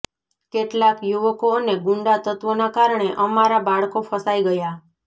કેટલાક યુવકો અને ગૂંડા તત્ત્વોનાં કારણે અમારા બાળકો ફસાઈ ગયાં